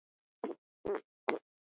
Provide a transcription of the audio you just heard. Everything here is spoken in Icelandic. Það gæti samt verið.